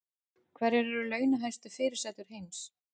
Hverjar eru launahæstu fyrirsætur heims